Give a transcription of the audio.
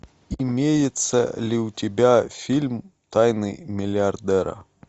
имеется ли у тебя фильм тайны миллиардера